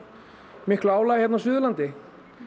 miklu álagi hérna á Suðurlandi